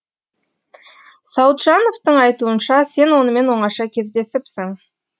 сауытжановтың айтуынша сен онымен оңаша кездесіпсің